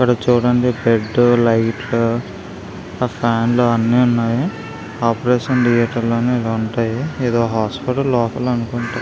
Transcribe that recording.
ఇక్కడ చూడండి bed light లు ఆ ఫ్యాన్ లు అన్నీ ఉన్నాయి ఆపరేషన్ థియేటర్ లోనే ఇలా ఉంటాయి ఎదో హాస్పిటల్ లోపల అనుకుంటా --